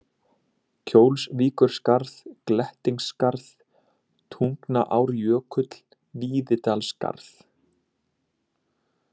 Kjólsvíkurskarð, Glettingsskarð, Tungnaárjökull, Víðidalsskarð